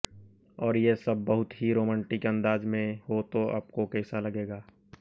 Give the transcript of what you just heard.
और ये सब बहुत ही रोमांटिक अंदाज में हो तो आपको कैसा लगेगा